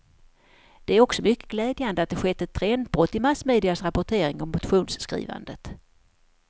Det är också mycket glädjande att det skett ett trendbrott i massmedias rapportering om motionsskrivandet.